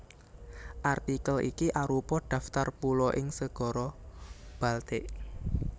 Artikel iki arupa daftar pulo ing Segara Baltik